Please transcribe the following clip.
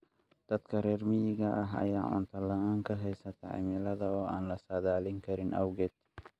Dadka reer miyiga ah ayaa cunto la'aan ka haysata cimilada oo aan la saadaalin karin awgeed.